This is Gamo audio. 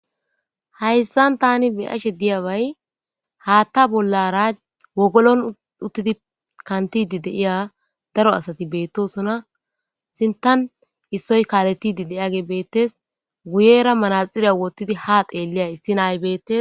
Hayisan tani beashe diyabayi hatha bollara wogolon utidi kantidi diya daro asati betosona sintan isoyi kaletidi diyage betees guyera maxire wotidi ha xeliya issi na,ay betees